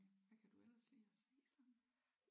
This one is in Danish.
Hvad kan du ellers lide at se så?